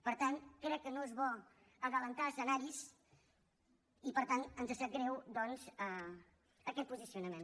per tant crec que no és bo avançar escenaris i per tant ens sap greu doncs aquest posicionament